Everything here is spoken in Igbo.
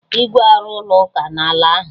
Igwe arụ ọ ụlọ ụka na ala ahụ